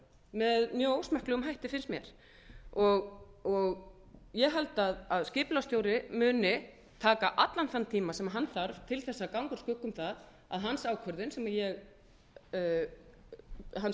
með mjög ósmekklegum hætti finnst mér ég held að skipulagsstjóri muni taka allan þann tíma sem hann þarf til þess að ganga úr skugga um það að hans ákvörðun sem ég hans